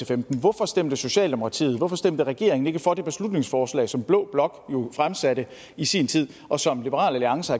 femten hvorfor stemte socialdemokratiet hvorfor stemte regeringen ikke for det beslutningsforslag som blå blok jo fremsatte i sin tid og som liberal alliance